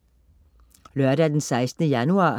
Lørdag den 16. januar